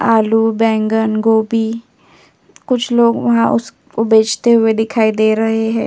आलू बैंगन गोभी कुछ लोग वहा उस को बेचते हुए दिखाई दे रहें हैं।